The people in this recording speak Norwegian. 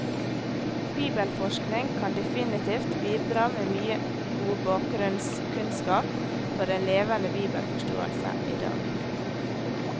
Bibelforskning kan definitivt bidra med mye god bakgrunnskunnskap for en levende bibelforståelse i dag.